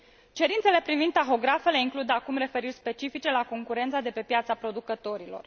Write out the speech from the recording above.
Cerințele privind tahografele includ acum referiri specifice la concurența de pe piața producătorilor.